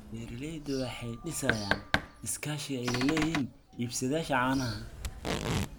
Beeraleydu waxay dhisayaan iskaashi ay la leeyihiin iibsadayaasha caanaha.